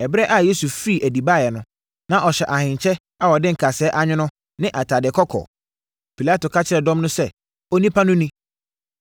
Ɛberɛ a Yesu firii adi baeɛ no, na ɔhyɛ ahenkyɛ a wɔde nkasɛɛ anwono ne atadeɛ kɔkɔɔ. Pilato ka kyerɛɛ dɔm no sɛ, “Onipa no ni!”